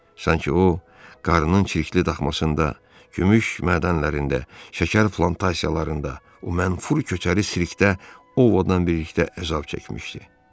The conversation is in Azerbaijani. Sanki o, qarının çirkli daxmasında, gümüş mədənlərində, şəkər plantasiyalarında o mənfur köçəri Sirkdə Ovadan birlikdə əzab çəkmişdi.